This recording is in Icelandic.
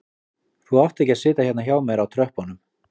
Þú átt ekki að sitja hérna hjá mér á tröppunum